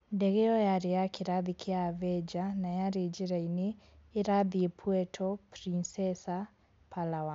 Ndege ĩyo yarĩ ya kĩrathi kĩa Avenger, na yarĩ njĩra-inĩ ĩrathiĩ Puerto Princesa, Palawan.